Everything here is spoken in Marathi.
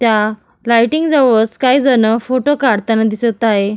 त्या लायटिंग जवळच काही जण फोटो काढताना दिसत आहे.